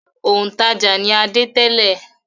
Òǹtajà ni Adé tẹ́lẹ̀.